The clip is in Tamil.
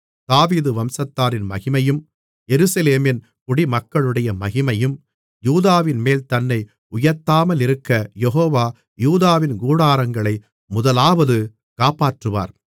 தாவீது வம்சத்தாரின் மகிமையும் எருசலேமின் குடிமக்களுடைய மகிமையும் யூதாவின்மேல் தன்னை உயர்த்தாமலிருக்க யெகோவா யூதாவின் கூடாரங்களை முதலாவது காப்பாற்றுவார்